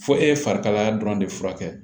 Fo e ye fari kalaya dɔrɔn de furakɛ